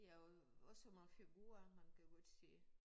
Ja og også nogle figurer man kan godt se